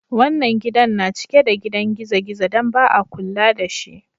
Wannan gidan na cike da gidan gizo-gizo dan ba'a kulla da si.